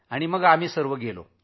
शेवटी आम्ही सर्व जण गेलो